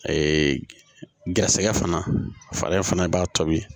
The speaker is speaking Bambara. garisɛgɛ fana fari fana b'a tobi